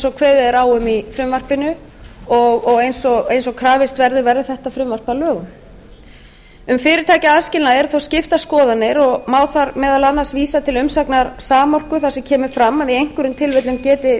og kveðið er á um í frumvarpinu og eins og krafist verður verði þetta frumvarp að lögum um fyrirtækjaaðskilnað eru þó skiptar skoðanir og má þar meðal annars vísa til umsagnar samorku þar sem fram kemur að í einhverjum tilfellum geti